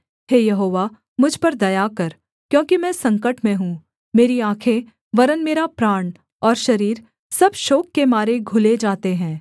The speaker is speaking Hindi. हे यहोवा मुझ पर दया कर क्योंकि मैं संकट में हूँ मेरी आँखें वरन् मेरा प्राण और शरीर सब शोक के मारे घुले जाते हैं